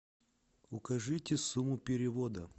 укажите сумму перевода